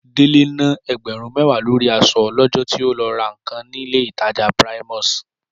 Délé na ẹgbẹ̀rún mẹ́wàá lórí aṣọ lọ́jọ́ tí ó lọ ra nǹkan nílé ìtajà ńlá Primus